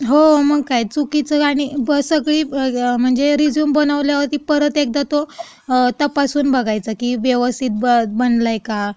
हो, मग काय! चुकीचं आणि.. बरं सगळी आणि म्हणजे रेझ्यूम बनवल्यावरती परत एकदा तो तपासून बघायचा की, व्यवस्थित बनलाय का,